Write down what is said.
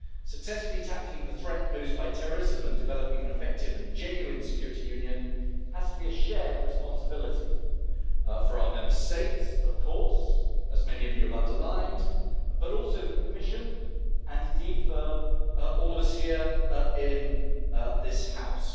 Successfully tackling the threat posed by terrorism and developing an effective and genuine Security Union has to be a shared responsibility not only for our Member States, of course, as many of you have underlined, but also for the Commission and, indeed, for all of us here in this House.